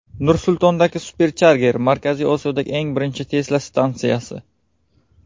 Nur-Sultondagi Supercharger Markaziy Osiyodagi eng birinchi Tesla stansiyasi.